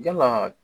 Yala